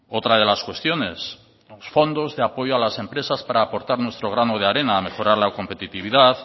otra de las cuestiones los fondos de apoyo a las empresas para aportar nuestro grano de arena a mejorar la competitividad